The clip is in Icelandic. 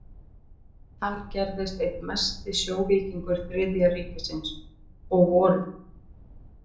Hann gerðist einn mesti sjóvíkingur Þriðja ríkisins, og vorið